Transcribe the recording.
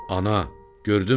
Ana, gördünmü?